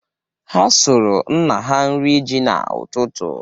Ha sụrụ nna ha nri ji n'ụtụtụ.